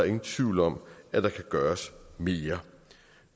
ingen tvivl om at der kan gøres mere